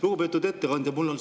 Lugupeetud ettekandja!